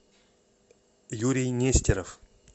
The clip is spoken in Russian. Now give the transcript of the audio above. юрий нестеров